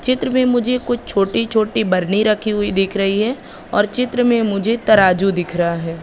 चित्र में मुझे कुछ छोटी छोटी बरनी रखी हुई दिख रही है और चित्र में मुझे तराजू दिख रहा है।